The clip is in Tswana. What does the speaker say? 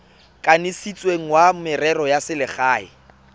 kanisitsweng wa merero ya selegae